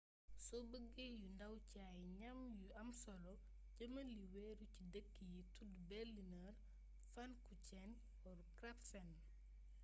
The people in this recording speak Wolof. so beeggé yu ndaw ci ay gnam yu am solo jémal li wéru ci deekk yi tudd berliner pfannkuchen or krapfen